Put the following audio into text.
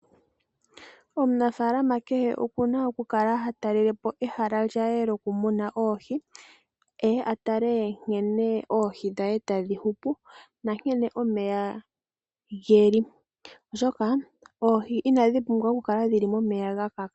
Omunafaalama kehe okuna oku Kala hatalelepo ehala lye lyokumuna oohi opo atale nkene oohi tadhi hupu nankene omeya geli oshoka oohi inadhi pumbwa oku kala momeya gakaka.